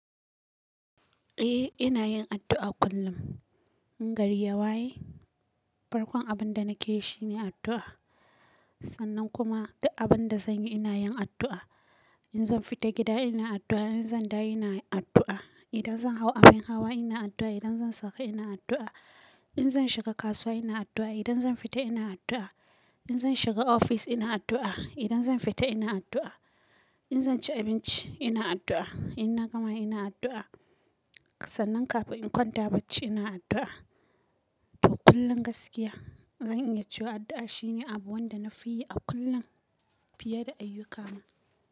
Eh ina yin addu'a kullum. In gari ya waye, farkon abin da nake yi shine addu'a. Sannan kuma duk abin da zanyi ina yin addu'a. In zan fita gida ina addu'a, idan zan dawo ina addu'a, idan zan hau abin hawa ina addu'a, idan zan sauka ina addu'a, in zan shiga kasuwa ina addu'a, idan zan fita ina addu'a, in zan shiga ofis ina addu'a, idan zan fita ina addu'a, in zan ci abinci ina addu'a, in na gama ina addu'a. Sannan kafin in kwanta bacci ina addu'a. To kullum gaskiya, zan iya cewa addu'a shine abu wanda na fi yi a kullum fiye da ayyukana.